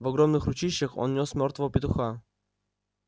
в огромных ручищах он нёс мёртвого петуха